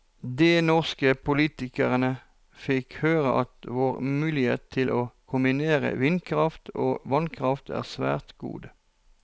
De norske politikerne fikk høre at vår mulighet til å kombinere vindkraft og vannkraft er svært gode.